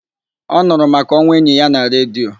Ọ nụrụ maka onwụ enyi ya na redio.